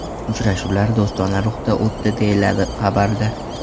Uchrashuvlar do‘stona ruhda o‘tdi, deyiladi xabarda.